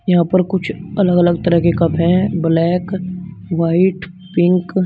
यहां पर कुछ अलग अलग तरह के कप है ब्लैक व्हाइट पिक ।